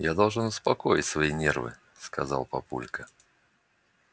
я должен успокоить свои нервы сказал папулька